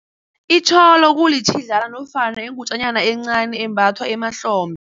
Itjholo kulitjhidlana nofona iingutjanyana encani embathwa emahlombe.